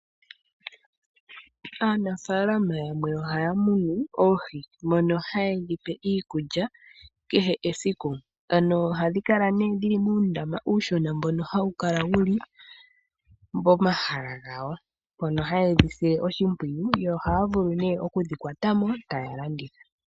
Aanafaalama yamwe ohaya munu oohi mono hayedhipe iikulya kehe esiku . ano ohayedhi kala nee dhili muundama uushona mbono hawu kala wuli pomahala gawo mpono hayedhi sile oshimpwiyu yo ohaya vulu nee okudhi kwatamo tayedhi landitha.